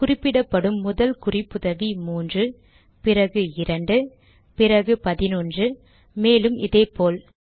குறிப்பிடப்படும் முதல் குறிப்புதவி 3 பிறகு 2 பிறகு 11 மேலும் இதே போல்